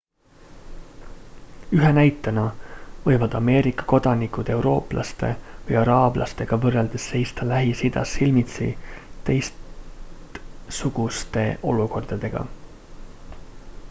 ühe näitena võivad ameerika kodanikud eurooplaste või araablastega võrreldes seista lähis-idas silmitsi teistsuguste olukordadega